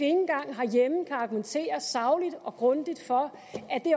engang herhjemme kan argumentere sagligt og grundigt for